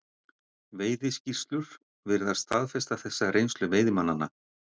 Veiðiskýrslur virðast staðfesta þessa reynslu veiðimannanna.